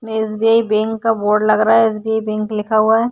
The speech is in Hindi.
एस.बी.आई बैंक का बोर्ड लग रहा है। एस.बी.आई बैंक लिखा हुआ है।